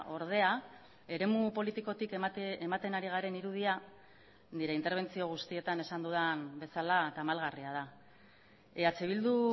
ordea eremu politikotik ematen ari garen irudia nire interbentzio guztietan esan dudan bezala tamalgarria da eh bildu